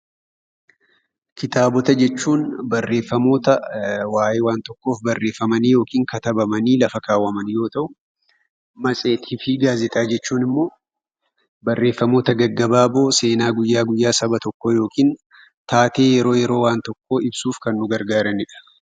Kitaabota jechuun barreeffamoota waa'ee waan tokkoo barreeffamanii yookiin katabamanii lafa kaawwamanii yoo ta'u, matseetii fi gaazexaawwan jechuun immoo barreeffamoota gaggabaaboo seenaa guyyaa guyyaa saba tokkoo yookiin taatee yeroo yeroo waan tokkoo ibsuuf kan nu gargaaranidha.